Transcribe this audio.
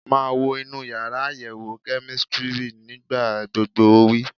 Máa wọ inú yàrá àyẹ̀wò kẹ́mísítírì nígbà gbogbo! Ó wí.